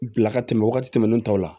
Bila ka tɛmɛ wagati tɛmɛnen tɔw la